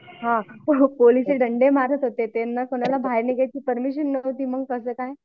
हां पोलीस ते दंडे मारत होते त्यांना कुणाला बाहेर निघायची परमिशन नव्हती मग कसं काय?